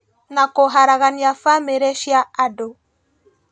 Na kũharagania bamĩrĩ cia andũ